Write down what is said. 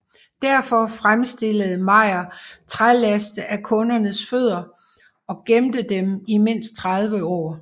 Derfor fremstillede Mayr trælæste af kundernes fødder og gemte dem i mindst 30 år